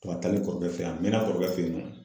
W'a taali kɔrɔkɛ fe a mɛn'a kɔrɔkɛ fe yen nɔ